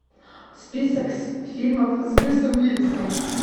список фильмов с брюсом уиллисом